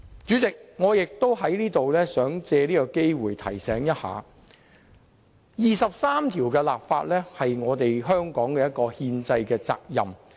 主席，我也想藉此機會提醒大家，就《基本法》第二十三條立法是香港的憲制責任。